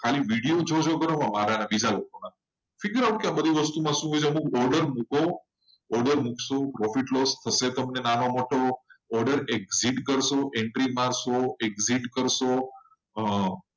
ખાલી વિડિયો જોવો મારા અને અમુક લોકોના અને figure out કરો કે શું order છે copy paste તમે નાનો મોટો order read કરશો. અને entry મારશો. entry કરશો અને exit કરશો